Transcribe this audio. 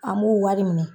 An b'u wari minɛ